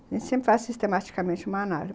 A gente sempre faz sistematicamente uma análise.